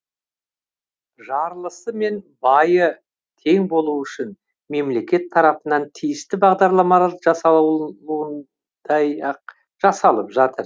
жарлысы мен байы тең болу үшін мемлекет тарапынан тиісті бағдарламалар жасалуыындай ақ жасалып жатыр